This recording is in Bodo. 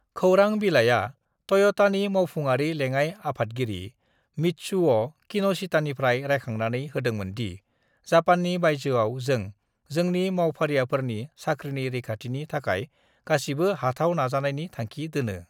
"""खौरां बिलाइआ टय'टानि मावफुंआरि लेंङाइ आफादगिरि मित्सुअ' किन'शितानिफ्राय रायखांनानै होदोंमोन दि """" जापाननि बायजोयाव, जों जोंनि मावफारियाफोरनि साख्रिनि रैखाथिनि थाखाय गासिबो हाथाव नाजानायनि थांखि दोनो।"""""""